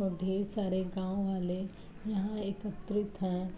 और ढेर सारे गांव वाले यहाॅं एकत्रित हैं।